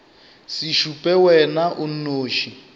se šupe wena o nnoši